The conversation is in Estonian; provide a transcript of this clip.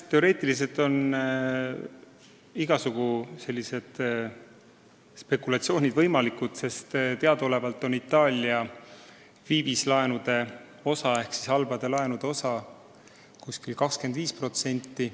Teoreetiliselt on igasugused sellised spekulatsioonid võimalikud, sest teadaolevalt on Itaalia viivislaenude osakaal ehk siis halbade laenude osakaal umbes 25%.